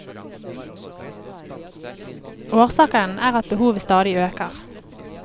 Årsaken er at behovet stadig øker.